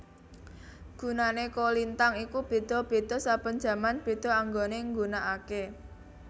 Gunane kolintang iku beda beda saben jaman beda anggone nggunakake